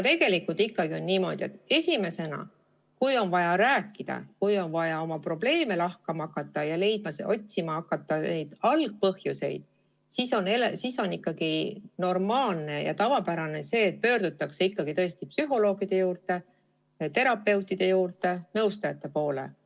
Tegelikult on ikkagi niimoodi, et esimese asjana, kui on vaja rääkida, oma probleeme lahata ja otsida nende algpõhjuseid, on ikkagi normaalne ja tavapärane see, et pöördutakse psühholoogide, terapeutide või nõustajate poole.